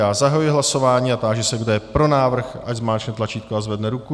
Já zahajuji hlasování a táži se, kdo je pro návrh, ať zmáčkne tlačítko a zvedne ruku.